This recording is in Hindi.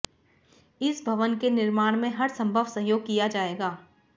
इस भवन के निर्माण में हर संभव सहयोग किया जाएगा